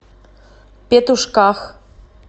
петушках